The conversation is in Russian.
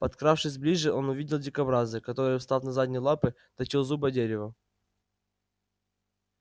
подкравшись ближе он увидел дикобраза который встав на задние лапы точил зубы о дерево